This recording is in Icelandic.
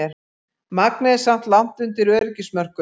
Magnið er samt langt undir öryggismörkum